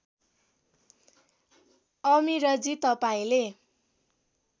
अमिरजी तपाईँले